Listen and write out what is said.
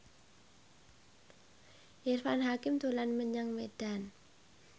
Irfan Hakim dolan menyang Medan